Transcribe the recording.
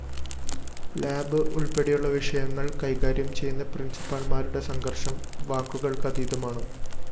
lab ഉള്‍പ്പെടെയുള്ള വിഷയങ്ങള്‍ കൈകാര്യം ചെയ്യുന്ന പ്രിന്‍സിപ്പാള്‍മാരുടെ സംഘര്‍ഷം വാക്കുകള്‍ക്കതീതമാണ്